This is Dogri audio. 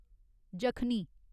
यखनी